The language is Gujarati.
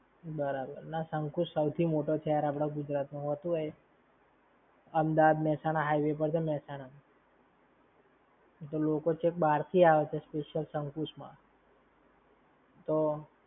બરાબર. ના શકુંશ સૌથી મૉટે છે આપણા ગુજરાત માં! હોતું હોય. અમદાવાદ મેહસાણા highway પર છે મેહસાણા માં. લોકો છેક બાર થી આવે છે શકુંશ માં. તો!